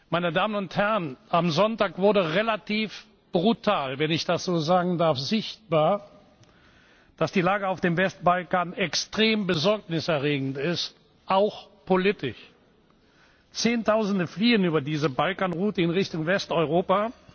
Meine Damen und Herren, am Sonntag wurde wenn ich das so sagen darf relativ brutal sichtbar, dass die Lage auf dem Westbalkan extrem besorgniserregend ist, auch politisch. Zehntausende fliehen über diese Balkanroute in Richtung Westeuropa.